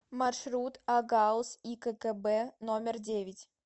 маршрут огауз игкб номер девять